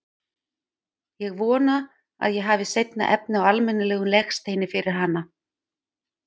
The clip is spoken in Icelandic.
Ég vona að ég hafi seinna efni á almennilegum legsteini yfir hana.